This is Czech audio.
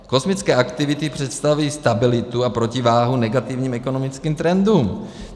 Kosmické aktivity představují stabilitu a protiváhu negativním ekonomickým trendům.